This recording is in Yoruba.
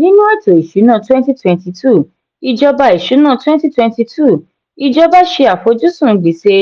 nínú èto ìṣúná twenty twenty two ìjọba ìṣúná twenty twenty two ìjọba ṣe àfojúsùn gbèsè